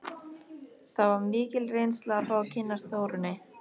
Það var mikil reynsla að fá að kynnast Þórunni.